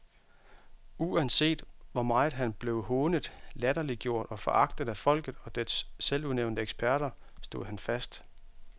Uanset hvor meget han blev hånet, latterliggjort og foragtet af folket og dets selvudnævnte eksperter, stod han fast.